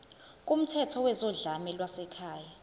kumthetho wezodlame lwasekhaya